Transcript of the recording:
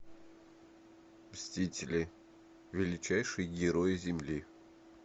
мстители величайшие герои земли